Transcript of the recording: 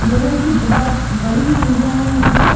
लोगों की बहुत बड़ी संख्या है यहां पर।